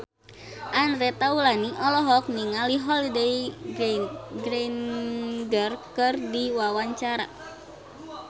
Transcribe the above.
Andre Taulany olohok ningali Holliday Grainger keur diwawancara